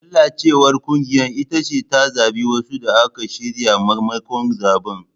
Lalacewar kungiya ita ce ta zabi wasu da aka shirya maimakon zabe.